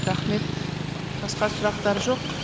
рахмет басқа сұрақтар жоқ